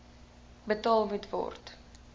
betaal moet word